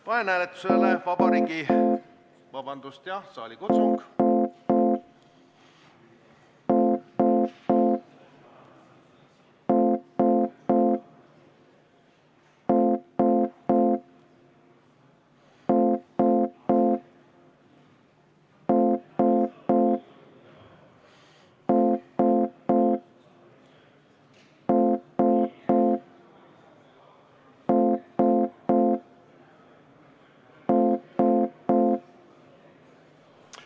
Vabandust, kõigepealt saalikutsung.